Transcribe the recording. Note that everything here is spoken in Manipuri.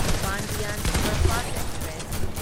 Pandian superfast express